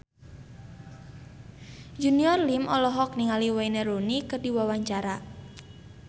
Junior Liem olohok ningali Wayne Rooney keur diwawancara